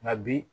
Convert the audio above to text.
Nka bi